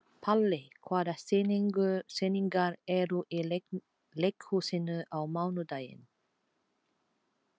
Palli, hvaða sýningar eru í leikhúsinu á mánudaginn?